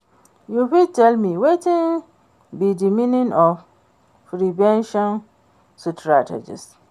You fit tell me wetin be di meaning of prevention strategies?